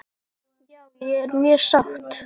Já ég er mjög sátt.